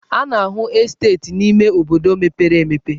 A na-ahụ esteeti n'ime obodo mepere emepe.